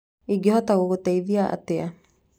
Ĩngehota gũgũteithia atĩa?